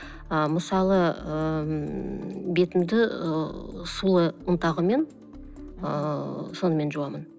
ы мысалы ыыы ммм бетімді ы сұлы ұнтағымен ыыы сонымен жуамын